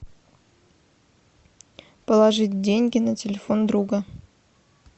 положить деньги на телефон друга